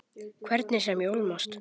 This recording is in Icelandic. Hvernig sem ég ólmast.